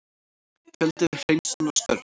Fjöldi við hreinsunarstörf